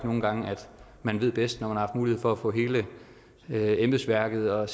nogle gange at man ved bedst når man har mulighed for at få hele embedsværket og